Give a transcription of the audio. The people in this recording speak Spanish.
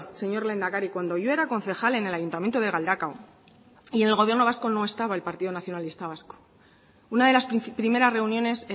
señor lehendakari cuando yo era concejala en el ayuntamiento de galdakao y en el gobierno vasco no estaba el partido nacionalista vasco una de las primeras reuniones